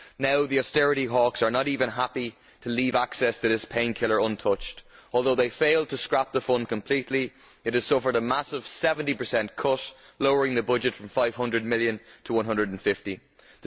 Now the austerity hawks are not even happy to leave access to this painkiller untouched. Although they failed to scrap the fund completely, it has suffered a massive 70 cut, lowering the budget from EUR 500 million to 150 million.